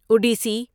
Odissi